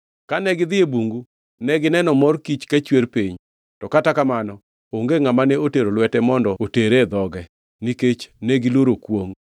Kane gidhi e bungu negineno mor kich ka chwer piny, to kata kamano onge ngʼama ne otero lwete mondo otere e dhoge, nikech negiluoro kwongʼ.